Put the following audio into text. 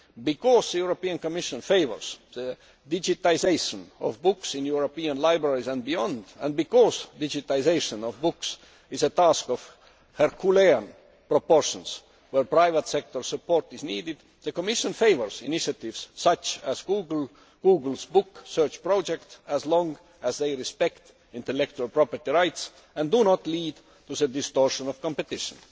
Because the European Commission favours the digitisation of books in European libraries and beyond, and because digitisation of books is a task of Herculean proportions, where private sector support is needed, the Commission favours initiatives such as Google's Book Search Project as long as they respect intellectual property rights and do not lead to the distortion of competition.